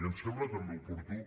i em sembla també oportú